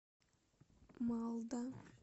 малда